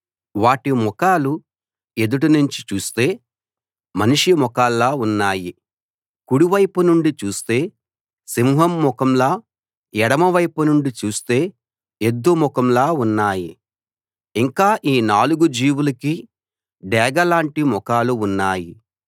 వాటి ముఖాలు ఎదుట నుంచి చూస్తే మనిషి ముఖాల్లా ఉన్నాయి కుడివైపు నుండి చూస్తే సింహం ముఖంలా ఎడమవైపు నుండి చూస్తే ఎద్దు ముఖంలా ఉన్నాయి ఇంకా ఈ నాలుగు జీవులకీ డేగ లాంటి ముఖాలు ఉన్నాయి